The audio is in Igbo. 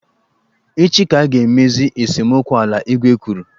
Echi ka a ga emezi esemokwu ala, igwe kwuru.